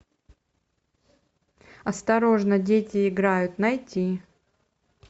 осторожно дети играют найти